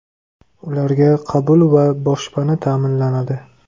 Ularga qabul va boshpana ta’minlanadi.